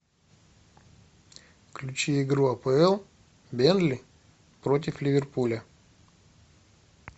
включи игру апл бернли против ливерпуля